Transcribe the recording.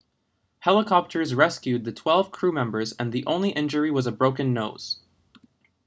helicopters rescued the twelve crewmembers and the only injury was a broken nose